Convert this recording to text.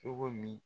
Cogo min